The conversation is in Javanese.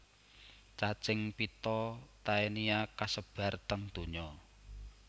Cacing pita Taenia kasebar teng donya